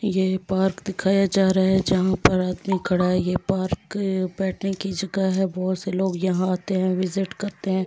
यह पार्क दिखाया जा रहा है जहां पर आदमी खड़ा है यह पार्क बैठने की जगह है बहुत से लोग यहां आते हैं विजिट करते हैं।